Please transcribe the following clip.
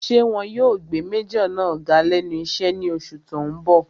Ṣé wọn yóò gbé májọ̀ náà ga lẹ́nu iṣẹ́ ní oṣù tó n bọ̀?